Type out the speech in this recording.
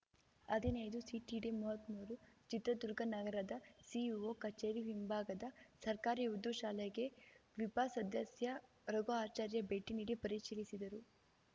ಹದಿನೈದುಸಿಟಿಡಿಮೂವತ್ಮೂರು ಚಿತ್ರದುರ್ಗ ನಗರದ ಸಿಇಒ ಕಚೇರಿ ಹಿಂಭಾಗದ ಸರ್ಕಾರಿ ಉರ್ದು ಶಾಲೆಗೆ ವಿಪ ಸದಸ್ಯ ರಘುಆಚಾರ್ಯ ಭೇಟಿ ನೀಡಿ ಪರಿಶೀಲಿಸಿದರು